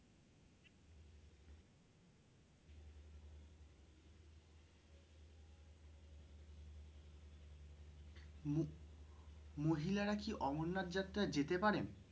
মহিলারা কি অমরনাথ যাত্রা যেতে পারেন?